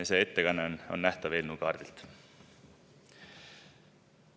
See ettekanne on nähtav eelnõu kaardilt.